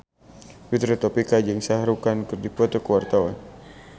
Fitri Tropika jeung Shah Rukh Khan keur dipoto ku wartawan